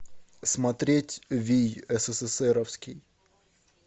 смотреть вий сссровский